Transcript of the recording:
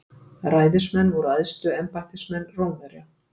Ræðismenn voru æðstu embættismenn Rómverja.